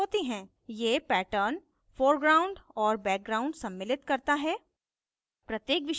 ये pattern foreground और background सम्मिलित करता है